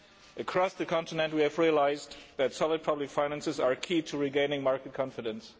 Across the continent, we have realised that solid public finances are key to regaining market confidence.